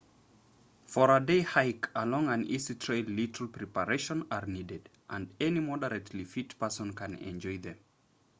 for a day hike along an easy trail little preparations are needed and any moderately fit person can enjoy them